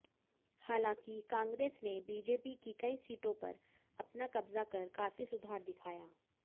हालांकि कांग्रेस ने बीजेपी की कई सीटों पर अपना कब्जा कर काफी सुधार दिखाया